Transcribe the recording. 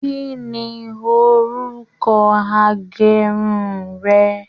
Kínní orúkọ agérun rẹ?